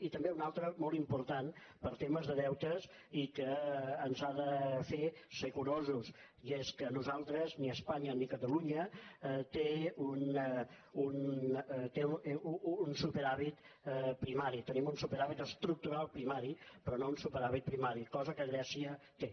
i també una altra molt important per temes de deutes i que ens ha de fer ser curosos i és que nosaltres ni espanya ni catalunya tenim un superàvit primari tenim un superàvit estructural primari però no un superàvit primari cosa que grècia té